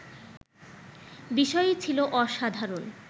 বিষয়ই ছিল অসাধারণ